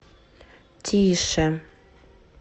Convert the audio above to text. тише